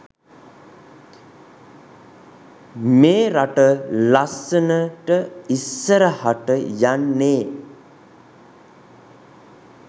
මේ රට ලස්සනට ඉස්සරහට යන්නේ.